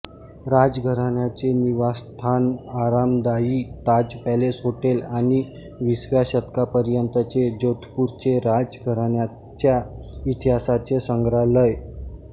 राज घराण्याचे निवासस्थानआरामदाई Taj Palace hotel आणि वीसव्या शतकापर्यंतचे जोधपूरचे राज घराण्याच्या इतिहासाचे संग्राहलय